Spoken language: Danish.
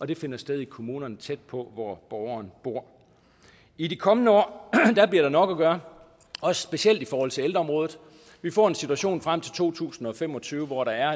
det finder sted i kommunerne tæt på hvor borgeren bor i de kommende år bliver der nok at gøre og specielt i forhold til ældreområdet vi får en situation frem til to tusind og fem og tyve hvor der